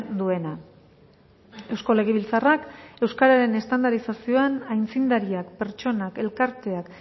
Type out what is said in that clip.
duena eusko legebiltzarrak euskararen estandarizazioan aitzindariak pertsonak elkarteak